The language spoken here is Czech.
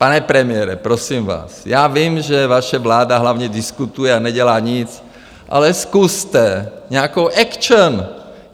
Pane premiére, prosím vás, já vím, že vaše vláda hlavně diskutuje a nedělá nic, ale zkuste nějakou action!